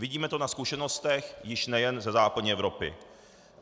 Vidíme to na zkušenostech již nejen ze západní Evropy.